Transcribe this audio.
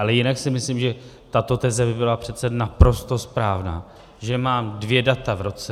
Ale jinak si myslím, že tato teze by byla přece naprosto správná, že mám dvě data v roce.